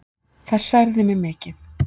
Það særði mig mikið.